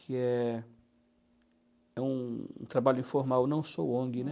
Que é é um trabalho informal, não sou ONG, né?